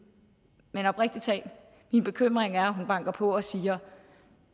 men oprigtig talt min bekymring er at hun banker på og siger